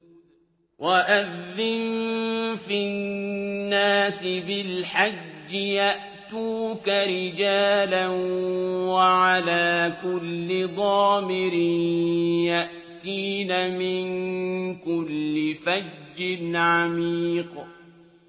وَأَذِّن فِي النَّاسِ بِالْحَجِّ يَأْتُوكَ رِجَالًا وَعَلَىٰ كُلِّ ضَامِرٍ يَأْتِينَ مِن كُلِّ فَجٍّ عَمِيقٍ